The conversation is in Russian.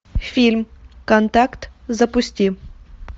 фильм контакт запусти